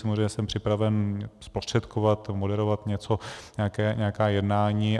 Samozřejmě jsem připraven zprostředkovat, moderovat něco, nějaká jednání.